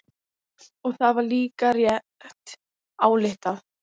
Og það var líka rétt ályktað.